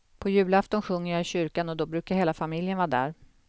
På julafton sjunger jag i kyrkan och då brukar hela familjen vara där.